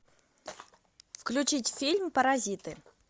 включить фильм паразиты